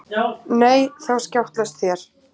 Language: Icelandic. Nei þá skjátlast þér.